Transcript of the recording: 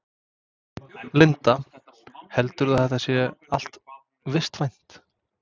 Linda: Heldurðu að þetta sé allt vistvænt?